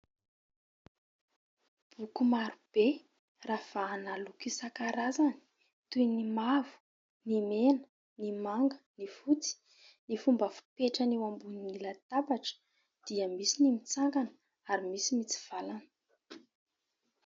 Boky maro be ravahana loko isankarazany : toy ny mavo, ny mena, ny manga, ny fotsy... Ny fomba fipetrany eo ambony latabatra dia : misy ny mitsangana, ary misy mitsivalana.